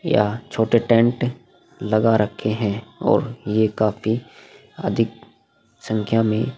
या छोटे टेंट लगा रखे हैं और ये काफी अधिक संख्या में --